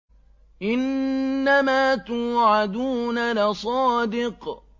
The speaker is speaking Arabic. إِنَّمَا تُوعَدُونَ لَصَادِقٌ